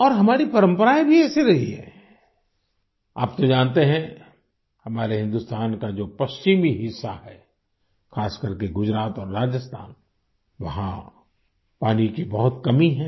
और हमारी परम्पराएं भी ऐसी रही हैं आप तो जानते हैं हमारे हिंदुस्तान का जो पश्चिमी हिस्सा है खास करके गुजरात और राजस्थान वहाँ पानी की बहुत कमी है